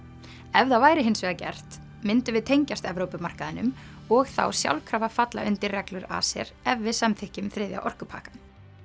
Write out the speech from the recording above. ef það væri hins vegar gert myndum við tengjast og þá sjálfkrafa falla undir reglur ACER ef við samþykkjum þriðja orkupakkann